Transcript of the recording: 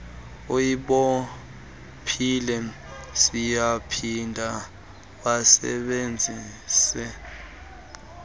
ulibophile siyaphinda wasebenzise